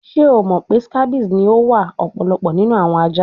Ṣe o mọ pe scabies ni o wa ọpọlọpọ ninu awọn aja?